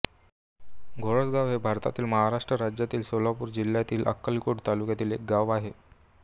घोळसगाव हे भारतातील महाराष्ट्र राज्यातील सोलापूर जिल्ह्यातील अक्कलकोट तालुक्यातील एक गाव आहे